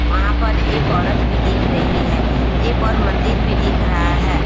वहाँ पर एक औरत भी दिख रही है एक और मंदिर भी दिख रहा है।